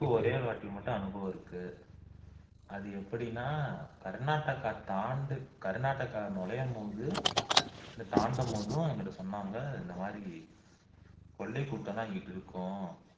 எனக்கு ஒரேயொரு வாட்டி மட்டும் அனுபவம் இருக்கு அது எப்படின்னா கர்நாடகா தாண்டு கர்நாடகா நுழையும் போது அல்லது தாண்டும் போதும் எங்கள்ட சொன்னாங்க இந்தமாதிரி கொள்ளை கூட்டம் எல்லாம் இங்க இருக்கும்